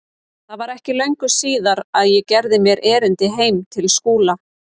Það var ekki löngu síðar að ég gerði mér erindi heim til Skúla.